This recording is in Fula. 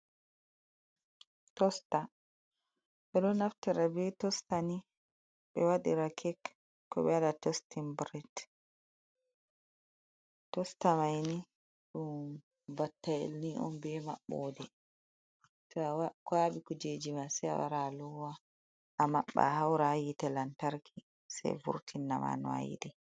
Tosta ɓe ɗo naftira be tostani ɓe waɗira kek koɓe tostin biret tosta maini ɗum battayel on be maɓɓode to a kwaɓi kujejima se a wara alowa a maɓɓa a haura yite lantarki sai vurtina ma no ayiɗi.